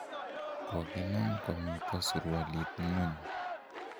kokinam komito surualit ng'ony